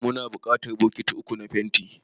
Muna buƙatar bokiti uku na fenti.